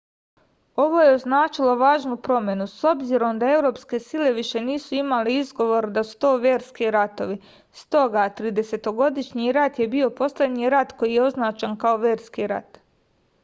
ovo je označilo važnu promenu s obzirom da evropske sile više nisu imale izgovor da su to verski ratovi stoga tridesetogodišnji rat je bio poslednji rat koji je označen kao verski rat